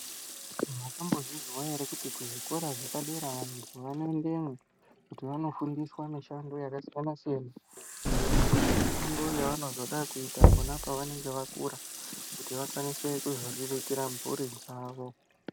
Mwakambozvizwa ere kuti kuzvikora zvepadera vanhu vanoendemwo, kuti vanofundiswa mishando yakasiyana-siyana, iyo mishando yavo yavanozoda kuzoita pona apo vanenge vakura, kuti vakwanise kuzoriritira mburi dzavo.